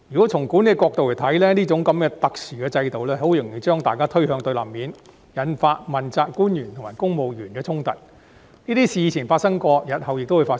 從管理的角度而言，這種特殊制度容易把大家推向對立面，引發問責官員和公務員的衝突，這些事以前皆曾發生，日後亦會發生。